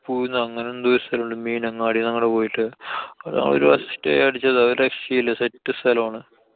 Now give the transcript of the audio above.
അങ്ങനെന്തോ ഒരു സ്ഥലം ഇണ്ട്. മീനങ്ങാടിന്നങ്ങട്‌ പോയിട്ട്. അതാവുമ്പോ ഒരു പ്രാവശ്യം stay അടിച്ചതാ. ഒരു രക്ഷേം ഇല്ലാ. set സ്ഥലാണ്.